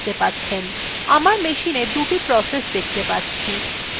আমার machineএ দুটি processes দেখতে পাচ্ছি